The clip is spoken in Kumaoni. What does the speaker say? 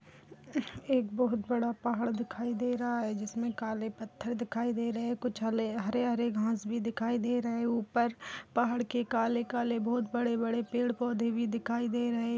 हम्म एक बहुत बड़ा पहाड़ दिखाई दे रहा है जिसमें काले पत्थर दिखाई दे रहे हैं और कुछ हले हरे-हरे घास भी दिखाई दे रहे हैं ऊपर पहाड़ के काले-काले बहुत बड़े-बड़े पेड़ पौधे भी दिखाई दे रहे --